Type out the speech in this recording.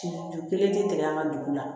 Ju kelen tɛ an ka dugu la